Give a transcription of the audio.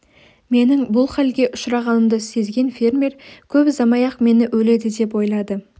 менің бұл халге ұшырағанымды сезген фермер көп ұзамай-ақ мені өледі деп ойлады